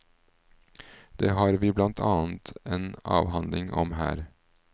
Det har vi blant annet en avhandling om her.